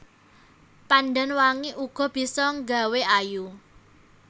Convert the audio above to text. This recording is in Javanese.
Pandan wangi uga bisa nggawé ayu